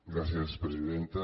gràcies presidenta